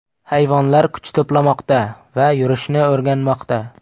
Hayvonlar kuch to‘plamoqda va yurishni o‘rganmoqda.